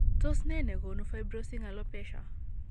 Tos nee negonu fibrosing alopecia ?